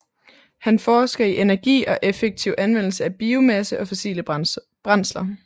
Han forsker i energi og effektiv anvendelse af biomasse og fossile brændsler